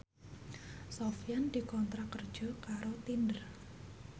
Sofyan dikontrak kerja karo Tinder